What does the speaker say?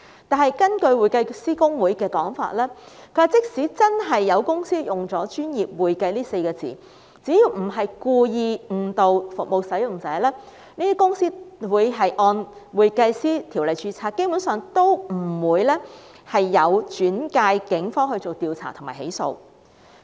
然而，根據香港會計師公會的說法，即使真的有公司使用"專業會計"這稱謂，只要不是故意誤導服務使用者，他們會按《專業會計師條例》註冊，基本上也不會轉介警方調查及起訴。